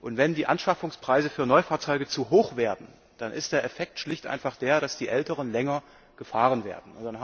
Und wenn die Anschaffungspreise für Neufahrzeuge zu hoch werden, dann ist der Effekt schlicht und einfach der, dass die älteren länger gefahren werden.